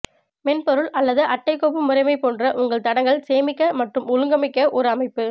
மென்பொருள் அல்லது அட்டை கோப்பு முறைமை போன்ற உங்கள் தடங்கள் சேமிக்க மற்றும் ஒழுங்கமைக்க ஒரு அமைப்பு